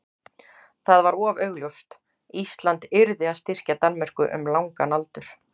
það var of augljóst: Ísland yrði að styrkja Danmörku um langan aldur.